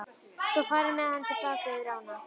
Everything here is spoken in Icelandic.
Svo var farið með hana til baka yfir ána.